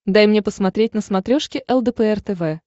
дай мне посмотреть на смотрешке лдпр тв